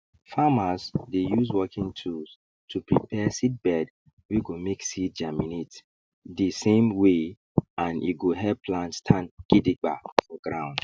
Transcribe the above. farmers dey use working tools to prepare seedbed wey go make seed germinate dey same way and e go help plant stand gidiba for ground